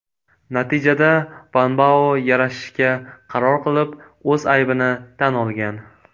Natijada Vanbao yarashishga qaror qilib, o‘z aybini tan olgan.